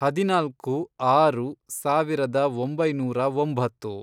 ಹದಿನಾಲ್ಕು, ಆರು, ಸಾವಿರದ ಒಂಬೈನೂರ ಒಂಬತ್ತು